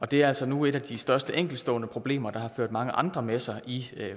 det er altså nu et af de største enkeltstående problemer der har ført mange andre med sig i